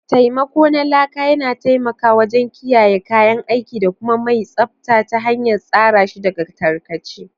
Taimako na Laka yana taimakawa wajen kiyaye kayan aiki da kuma mai tsabta ta hanyar tsara shi daga tarkace.